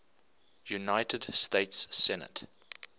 united states senate